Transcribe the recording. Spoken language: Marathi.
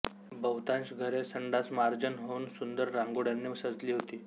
बहुतांश घरे सडासमार्जन होऊन सुंदर रांगोळ्यांनी सजली होती